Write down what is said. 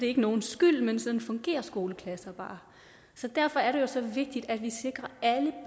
ikke nogens skyld men sådan fungerer skoleklasser bare så derfor er det jo så vigtigt at vi i